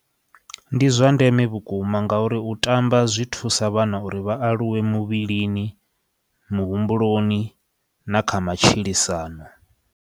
Ndi zwa ndeme vhukuma nga uri u tamba zwi thusa vhana uri vha aluwe muvhilini, muhumbuloni na kha matshilisano.